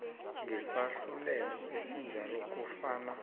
ngesahlulelo esinjalo kufana